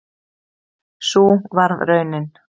Sú varð raunin